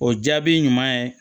O jaabi ɲuman ye